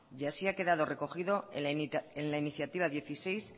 y así ha quedado recogido en la iniciativa dieciséis